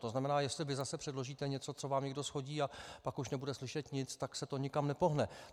To znamená, jestli vy zase předložíte něco, co vám někdo shodí, a pak už nebude slyšet nic, tak se to nikam nepohne.